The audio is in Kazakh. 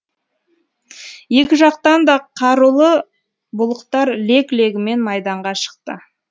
екі жақтан да қарулы бұлықтар лег легімен майданға шықты